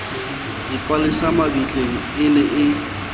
dipalesa mabitleng e ne e